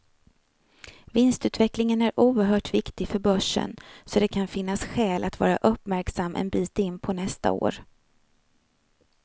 Vinstutvecklingen är oerhört viktig för börsen, så det kan finnas skäl att vara uppmärksam en bit in på nästa år.